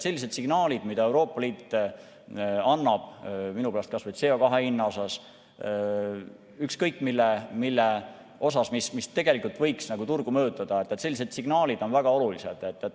Sellised signaalid, mida Euroopa Liit annab, minu pärast kas või CO2 hinna või ükskõik mille kohta, mis tegelikult võiks turgu mõjutada, on väga olulised.